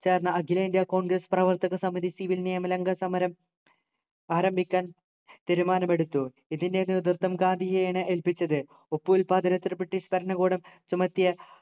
ചേർന്ന അഖിലേന്ത്യ congress പ്രവർത്തക സമിതി civil നിയമ ലംഘന സമരം ആരംഭിക്കാൻ തീരുമാനമെടുത്തു ഇതിൻ്റെ നേതൃത്വം ഗാന്ധിജിയെയാണ് ഏൽപ്പിച്ചത് ഉപ്പുൽപ്പാദനന്തിന് british ഭരണകൂടം ചുമത്തിയ